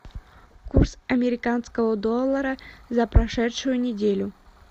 курс американского доллара за прошедшую неделю